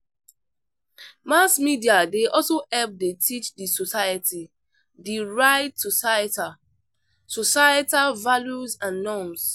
Mass media dey also help dey teach the society the right societal societal values and norms.